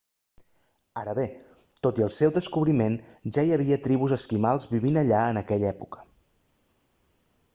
ara bé tot i el seu descobriment ja hi havia tribus esquimals vivint allà en aquella època